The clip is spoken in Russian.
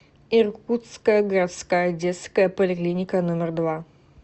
иркутская городская детская поликлиника номер два